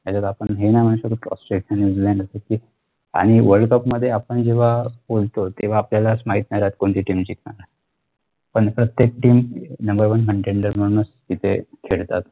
आपण हे नाही म्हणू शकत कि ऑस्ट्रेलिया न्यूजीलँड आणि world cup मध्ये आपण जेव्हा खेळतो तेव्हा आपल्यालाच माहिती नाही राहत कोणती team जिंकणार हाय पण प्रत्येक teamnumber one container म्हणून खेळतात